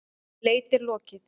Leit er lokið.